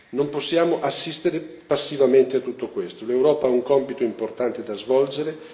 Non possiamo assistere passivamente a tutto questo l'Europa ha un compito importante da svolgere.